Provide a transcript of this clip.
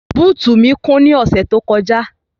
Bóòtì mí kún ní ọ̀sẹ́ tí ó kọjá.